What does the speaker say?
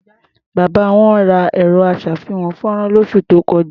Bàbá wọn ra ẹ̀rọ-aṣàfihàn-fọ́nrán lósù tó kọjá.